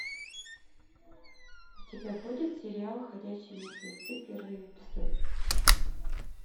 у тебя будет сериал ходячие мертвецы первый эпизод